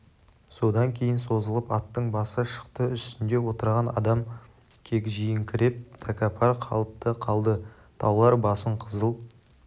содан кейін созылып аттың басы шықты үстінде отырған адам кегжиіңкіреп тәкаппар қалыпта қалды таулар басын қызыл